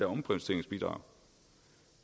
omprioriteringsbidrag